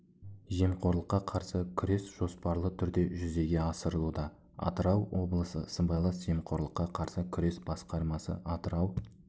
жемқорлыққа қарсы күрес жоспарлы түрде жүзеге асырылуда атырау облысы сыбайлас жемқорлыққа қарсы күрес басқармасы атырау